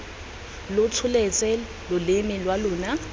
lo tsholetse loleme lwa lona